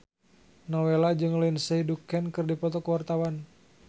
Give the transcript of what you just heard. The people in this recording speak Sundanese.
Nowela jeung Lindsay Ducan keur dipoto ku wartawan